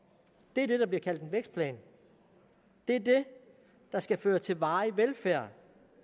det er det der bliver kaldt en vækstplan det er det der skal føre til varig velfærd